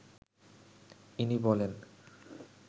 ইনি বলেন